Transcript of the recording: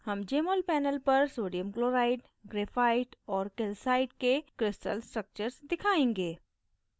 हम jmol panel पर sodium chloride graphite और calcite के crystal structures दिखाएँगे